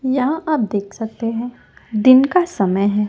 यहां आप देख सकते हैं दिन का समय है।